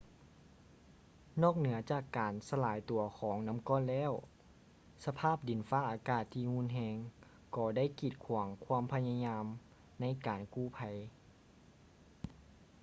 ນອກເໜືອຈາກການສະຫຼາຍຕົວຂອງນໍ້າກ້ອນແລ້ວ ສະພາບດິນຟ້າອາກາດທີ່ຮຸນແຮງກໍໄດ້ກີດຂວາງຄວາມພະຍາຍາມໃນການກູ້ໄພ